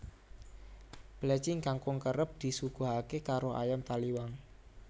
Plecing kangkung kerep disuguhaké karo ayam Taliwang